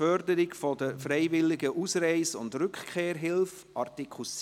4 Förderung der freiwilligen Ausreise und Rückkehrhilfe / 4